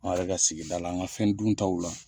An yɛrɛ ka sigida la, an ka fɛn duntaw la.